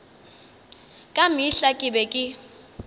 ka mehla ke be ke